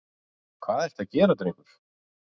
Hvað ertu að gera drengur?